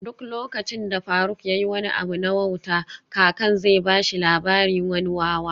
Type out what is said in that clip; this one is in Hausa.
Duk lokacin da faruk yayi wani abu na wauta kakan zai bashi labarin wani wawa